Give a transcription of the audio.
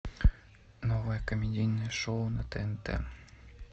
новое комедийное шоу на тнт